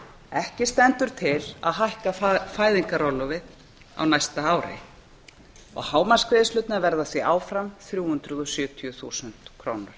ekki stendur til að hækka fæðingarorlofið á næsta ári hámarksgreiðslurnar verða því áfram þrjú hundruð og sjötíu þúsund krónur